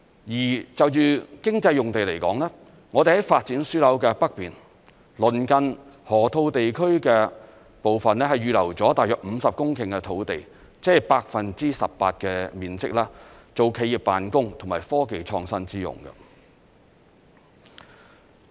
而就着經濟用地來說，我們在發展樞紐的北面，鄰近河套地區的部分，預留了大約50公頃的土地，即是 18% 的面積，作企業辦公和科技創新之用。